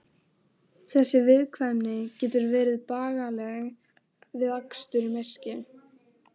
Þessi viðkvæmni getur verið bagaleg við akstur í myrkri.